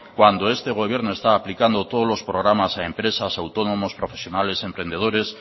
cuando este gobierno está aplicando todos los programas a empresas autónomos profesionales emprendedores